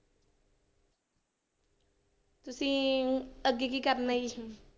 ਤੁਸੀਂ ਅੱਗੇ ਕੀ ਕਰਨਾ ਜੀ?